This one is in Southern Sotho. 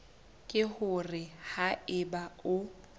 ke hore ha eba o